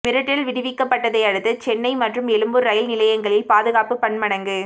மிரட்டல் விடுக்கப்பட்டதை அடுத்து சென்னை மற்றும் எழும்பூர் ரயில் நிலையங்களில் பாதுகாப்பு பன்மடங்கு